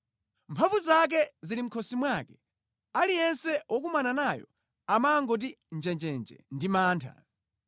Mphamvu zake zili mʼkhosi mwake; aliyense wokumana nayo amangoti njenjenje ndi mantha.